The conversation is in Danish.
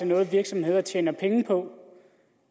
noget virksomheder tjener penge på